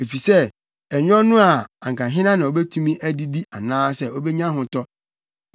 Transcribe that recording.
efisɛ ɛnyɛ ɔno a anka hena na obetumi adidi anaasɛ obenya ahotɔ?